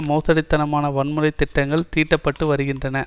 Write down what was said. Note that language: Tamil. மோசடித்தனமாக வன்முறை திட்டங்கள் தீட்டப்பட்டு வருகின்றன